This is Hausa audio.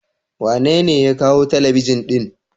Wa nene ya kawo Telebijin din?